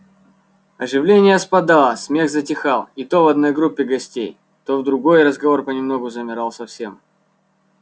оживление спадало смех затихал и то в одной группе гостей то в другой разговор понемногу замирал совсем